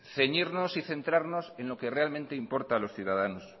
ceñirnos y centrarnos en lo que realmente importa a los ciudadanos